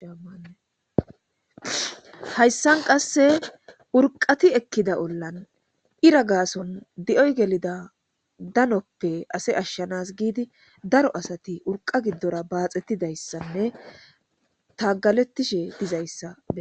Hayssan qasse urqati ekkida ollan ira gaason di'oy gelida danoppe ase ashshanas giidi daro asati urqa giddora baaxettidayssanne tagalettishe dizayssa.